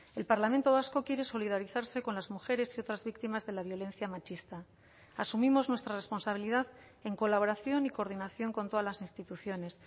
el parlamento vasco quiere solidarizarse con las mujeres y otras víctimas de la violencia machista asumimos nuestra responsabilidad en colaboración y coordinación con todas las instituciones